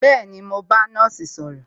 Bẹẹni, mo ń bá nọ́ọ̀sì sọ̀rọ̀